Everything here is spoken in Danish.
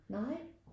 Nej